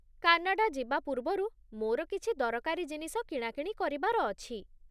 Canada ଯିବା ପୂର୍ବରୁ ମୋର କିଛି ଦରକାରୀ ଜିନିଷ କିଣାକିଣି କରିବାର ଅଛି।